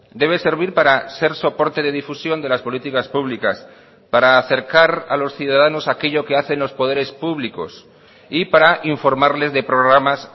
debe servir para ser soporte de difusión de las políticas públicas para acercar a los ciudadanos a aquello que hacen los poderes públicos y para informarles de programas